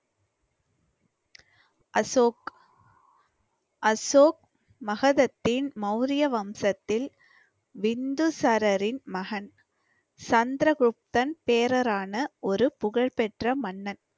அசோக் அசோக் மஹதத்தின் மௌரிய வம்சத்தில் பிந்துசாரரின் மகன் சந்திரகுப்தன் பேரரான ஒரு புகழ்பெற்ற மன்னன்.